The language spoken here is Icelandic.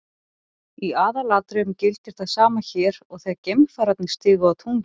Í aðalatriðum gildir það sama hér og þegar geimfararnir stigu á tunglið.